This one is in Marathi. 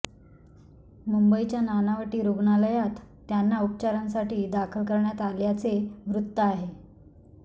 मुंबईच्या नानावटी रुग्णालयात त्यांना उपचारांसाठी दाखल करण्यात आल्याचे वृत्त आहे